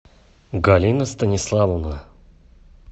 галина станиславовна